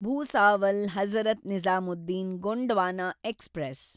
Bhusawal Hazrat Nizamuddin Gondwana express